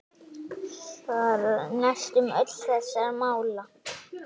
Svar: Næstum öll þessara mála